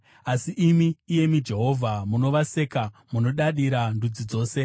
Asi imi, iyemi Jehovha, munovaseka; munodadira ndudzi dzose.